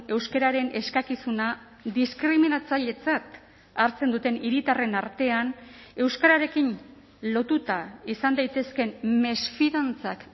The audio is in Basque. euskararen eskakizuna diskriminatzailetzat hartzen duten hiritarren artean euskararekin lotuta izan daitezkeen mesfidantzak